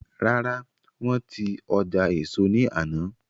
Rárá, wọ́n ti ọjà éso ní àná